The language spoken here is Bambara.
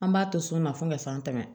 An b'a to so ma fo ka san tan